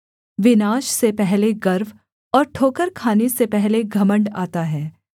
विनाश से पहले गर्व और ठोकर खाने से पहले घमण्ड आता है